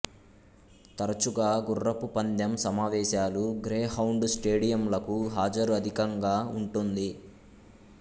తరచుగా గుర్రపు పందెం సమావేశాలు గ్రేహౌండు స్టేడియంలకు హాజరు అధికంగా ఉంటుంది